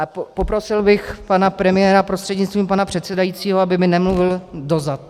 A poprosil bych pana premiéra, prostřednictvím pana předsedajícího, aby mi nemluvil do zad.